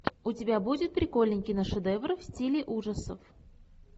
у тебя будет прикольный киношедевр в стиле ужасов